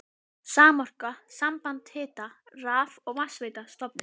Samorka, samband hita-, raf- og vatnsveitna, stofnuð.